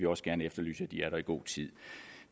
også gerne efterlyse at de er der i god tid